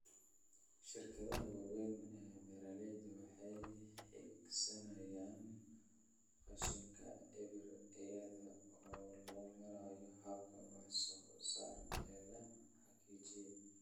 Shirkadaha waaweyn ee beeralayda waxay hiigsanayaan qashinka eber iyada oo loo marayo hababka wax soo saarka ee la hagaajiyay.